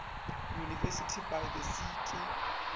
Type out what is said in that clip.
university by the sea ke